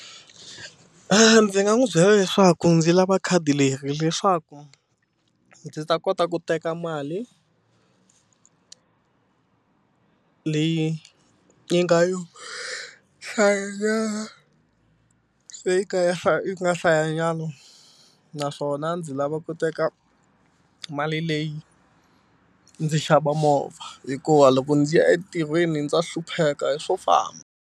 A ndzi nga n'wi byela leswaku ndzi lava khadi leri leswaku ndzi ta kota ku teka mali leyi yi nga yo hlayanyana leyi nga ya yi nga hlayanyana naswona ndzi lava ku teka mali leyi ndzi xava movha hikuva loko ndzi ya entirhweni ndza hlupheka hi swo famba.